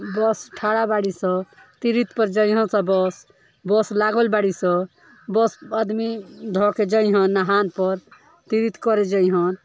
बस थाड़ा बाड़ी स तिरिथ पे जहियन सब बस बस लागल बाड़ी सबस आदमी धह के जहियन नहान पर तिरिथ करे जहियन --